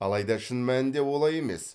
алайда шын мәнінде олай емес